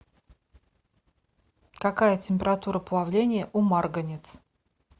какая температура плавления у марганец